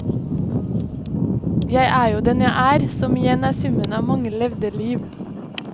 Jeg er jo den jeg er, som igjen er summen av mange levde liv.